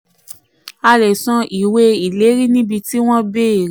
35. a lè san ìwé ìlérí níbi tí wọ́n béèrè.